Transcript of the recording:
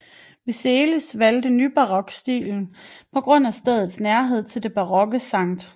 Vileišis valgt nybarok stilen på grund af stedets nærhed til den barokke Skt